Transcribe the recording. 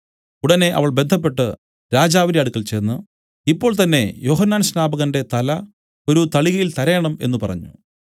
ഉടനെ അവൾ ബദ്ധപ്പെട്ടു രാജാവിന്റെ അടുക്കൽ ചെന്ന് ഇപ്പോൾ തന്നേ യോഹന്നാൻ സ്നാപകന്റെ തല ഒരു തളികയിൽ തരേണം എന്നു പറഞ്ഞു